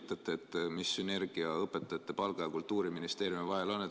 Võib-olla te selgitate, mis sünergia saab olla õpetajate palga ja Kultuuriministeeriumi vahel.